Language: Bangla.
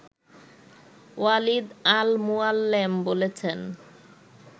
ওয়ালিদ আল মুয়াল্লেম বলেছেন